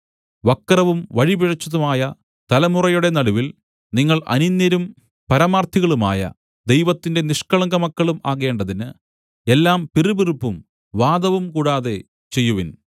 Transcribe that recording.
വക്രവും വഴിപിഴച്ചതുമായ തലമുറയുടെ നടുവിൽ നിങ്ങൾ അനിന്ദ്യരും പരമാർത്ഥികളുമായ ദൈവത്തിന്റെ നിഷ്കളങ്കമക്കളും ആകേണ്ടതിന് എല്ലാം പിറുപിറുപ്പും വാദവും കൂടാതെ ചെയ്യുവിൻ